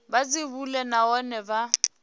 vha dzi bule nahone vha